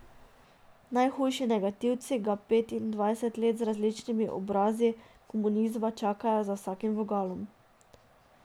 Najhujši negativci ga petindvajset let z različnimi obrazi komunizma čakajo za vsakim vogalom.